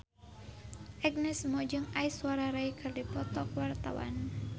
Agnes Mo jeung Aishwarya Rai keur dipoto ku wartawan